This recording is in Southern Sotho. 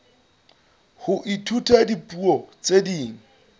ho ithuta dipuo tse ding